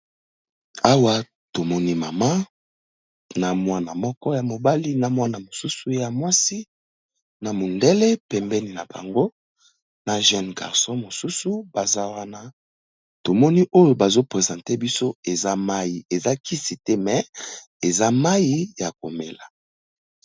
Awa tomoni mama na mwana moko ya mobali , na mwana mosusu ya mwasi, na mundele pembeni na bango na jeune garcon mosusu . Baza wana to moni oyo bazo presenter biso eza mayi, eza kisi te mais eza mayi ya komela .